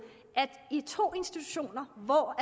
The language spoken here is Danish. at i to institutioner hvor